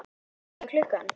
Hvað er klukkan?